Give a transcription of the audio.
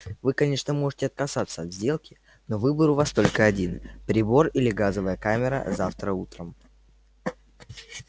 вы конечно можете отказаться от сделки но выбор у вас только один прибор или газовая камера завтра утром